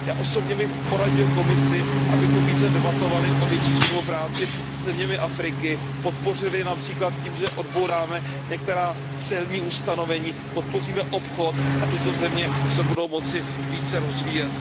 Já osobně bych poradil Komisi, abychom více debatovali o větší spolupráci se zeměmi Afriky, podpořili je například tím, že odbouráme některá celní ustanovení, podpoříme obchod a tyto země se budou moci více rozvíjet.